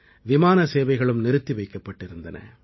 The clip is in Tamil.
விமான சேவைகளும் நிறுத்தி வைக்கப்பட்டிருந்தன